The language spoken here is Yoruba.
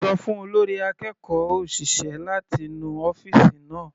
Ṣọ fún olórí akẹ́kọ̀ọ́ òṣìṣẹ́ láti nu ọ́fìsì náà.